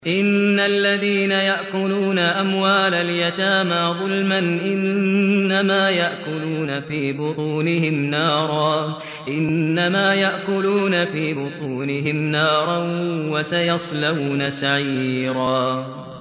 إِنَّ الَّذِينَ يَأْكُلُونَ أَمْوَالَ الْيَتَامَىٰ ظُلْمًا إِنَّمَا يَأْكُلُونَ فِي بُطُونِهِمْ نَارًا ۖ وَسَيَصْلَوْنَ سَعِيرًا